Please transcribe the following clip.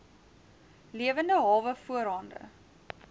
lewende hawe voorhande